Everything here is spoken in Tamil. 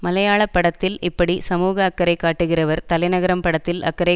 மலையாள படத்தில் இப்படி சமூக அக்கறை காட்டுகிறவர் தலைநகரம் படத்தில் அக்கறை